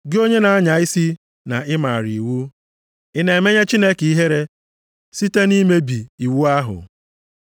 Gị onye na-anya isi na ị maara iwu, ị na-emenye Chineke ihere site nʼimebi iwu ahụ?